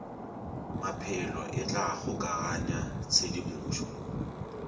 maphelo e tla kgokaganya tshedimošo